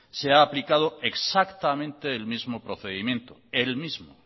se ha aplicado exactamente el mismo procedimiento el mismo